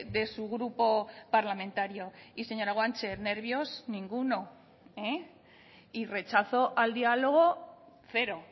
de su grupo parlamentario y señora guanche nervios ninguno y rechazo al diálogo cero